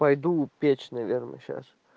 пойду печь наверное сейчас